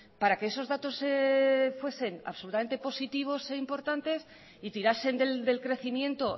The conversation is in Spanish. para que esos datos fuesen absolutamente positivos e importantes y tirasen del crecimiento